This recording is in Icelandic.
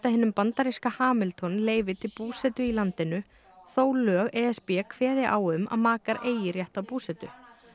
hinum bandaríska Hamilton leyfi til búsetu í landinu þó lög e s b kveði á um að makar eigi rétt á búsetu